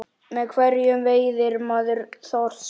Með hverju veiðir maður þorsk?